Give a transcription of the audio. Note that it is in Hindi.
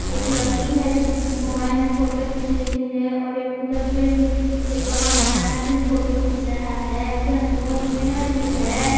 एक लड़की है जो मोबाइल में फोटो खींच रही है और एक उधर से भी एक और मर्दाना भी फोटो घिंच रहा है उधर में बहुत पेड़ भी है।